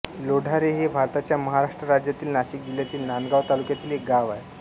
लोढारे हे भारताच्या महाराष्ट्र राज्यातील नाशिक जिल्ह्यातील नांदगाव तालुक्यातील एक गाव आहे